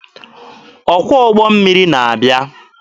Ọkwọ ụgbọ mmiri na-abịa.